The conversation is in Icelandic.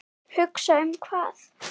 Hugsa um hvað?